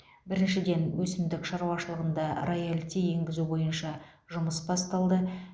біріншіден өсімдік шаруашылығында роялти енгізу бойынша жұмыс басталды